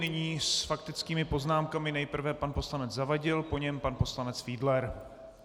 Nyní s faktickými poznámkami nejprve pan poslanec Zavadil, po něm pan poslanec Fiedler.